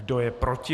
Kdo je proti?